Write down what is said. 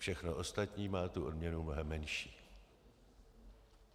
Všechno ostatní má tu odměnu mnohem menší.